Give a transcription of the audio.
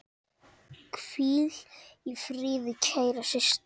Hvíl í friði, kæra systir.